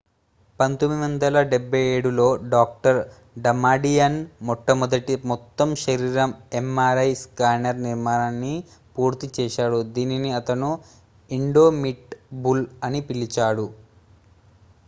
"1977 లో doctor Damadian మొట్టమొదటి "మొత్తం-శరీరం" mri స్కానర్ నిర్మాణాన్ని పూర్తి చేశాడు దీనిని అతను "ఇండొమిటబుల్" అని పిలిచాడు.